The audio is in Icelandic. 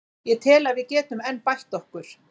Ég tel að við getum enn bætt okkur.